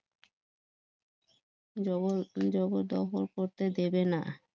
জবরদস্তি জগৎ দখল করতে দেবে না